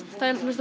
finnst